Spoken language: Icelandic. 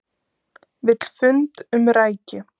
Vill fund um rækju